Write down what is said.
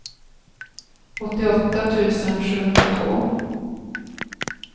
åttioåtta tusen sjuhundratvå